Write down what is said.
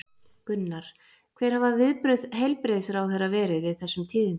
Gunnar, hver hafa viðbrögð heilbrigðisráðherra verið við þessum tíðindum?